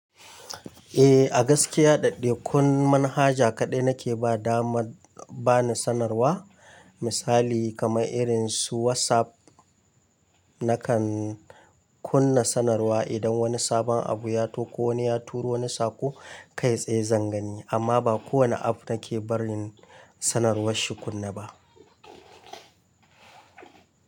Eh, a gaskiya daɗde kun manhaja kaɗai nake ba dama bani sanarwa. Misali kamar irin su WhatsApp nakan kunna sanarwa idan wani sabon abu ya to ko wani ya turo wani saƙo kai tsaye zan gani. Amma ba kowane app nake barin sanarwar shi kunne ba.